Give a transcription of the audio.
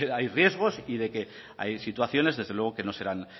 hay riesgos y de que hay situaciones desde luego